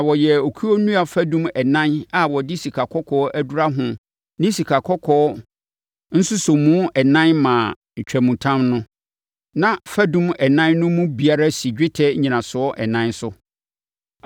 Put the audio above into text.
Na wɔyɛɛ okuo nnua fadum ɛnan a wɔde sikakɔkɔɔ adura ho ne sikakɔkɔɔ nsosɔmu ɛnan maa ntwamutam no. Na fadum ɛnan no mu biara si dwetɛ nnyinasoɔ ɛnan so.